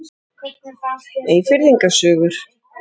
Eyfirðinga sögur.